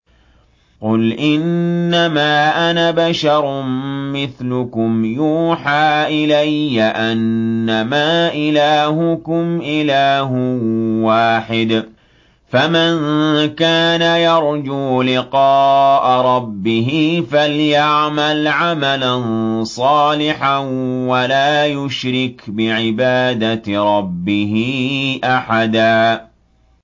قُلْ إِنَّمَا أَنَا بَشَرٌ مِّثْلُكُمْ يُوحَىٰ إِلَيَّ أَنَّمَا إِلَٰهُكُمْ إِلَٰهٌ وَاحِدٌ ۖ فَمَن كَانَ يَرْجُو لِقَاءَ رَبِّهِ فَلْيَعْمَلْ عَمَلًا صَالِحًا وَلَا يُشْرِكْ بِعِبَادَةِ رَبِّهِ أَحَدًا